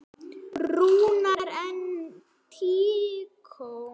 Rúnar: En tíkó?